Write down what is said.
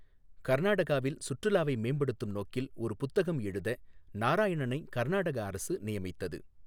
கர்நாடகாவில் சுற்றுலாவை மேம்படுத்தும் நோக்கில் ஒரு புத்தகம் எழுத நாராயணனை கர்நாடக அரசு நியமித்தது.